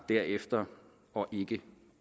derefter og ikke